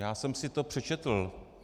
Já jsem si to přečetl.